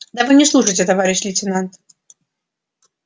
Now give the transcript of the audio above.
да вы не слушаете товарищ лейтенант